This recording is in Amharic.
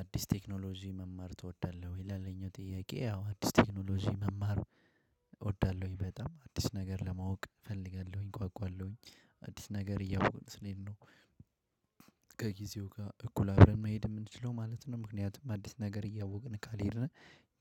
አዲስ ቴክኖሎጂ መማር ትወዳለህ ወይ? ላለኝ ጥያቄ ያው አዲስ ቴክኖሎጂ መማር እወዳለሁኝ በጣም አዲስ ነገር ለማወቅ እፈልጋለሁኝ እጓጓለሁኝ አዲስ ነገር እያወኩ ስለሄድ ነው። ከጊዜው ጋር እኩል አደር መሄድ የምንችለው ማለት ነው። ምክንያቱም አዲስ ነገር እያወቅን ካልሄድን